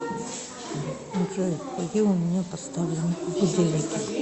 джой какие у меня поставлены будильники